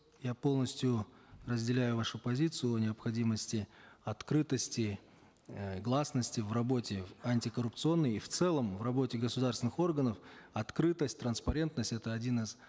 я полностью разделяю вашу позицию о необходимости открытости э гласности в работе антикоррупционной и в целом в работе государственных органов открытость транспарентность это один из